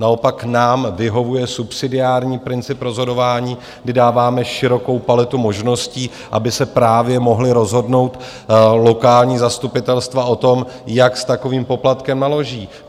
Naopak nám vyhovuje subsidiární princip rozhodování, kdy dáváme širokou paletu možností, aby se právě mohla rozhodnout lokální zastupitelstva o tom, jak s takovým poplatkem naloží.